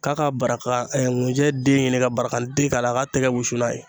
K'a ka baraka ŋunjɛ den ɲini ka barakante k'a la a k'a tɛgɛ wusu n'a ye.